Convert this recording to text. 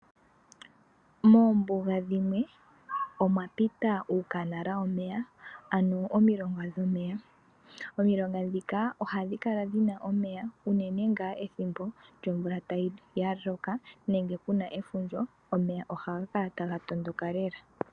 Moombuga dhimwe omwa pita uukanala womeya, ano omilonga dhomeya. Omilonga ndhika ohadhi kala dhina omeya unene ngaa ethimbo lyomvula ya loka, nenge kuna efundja, omeya ohaga kala taga tondoka lela.